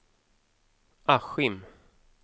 Askim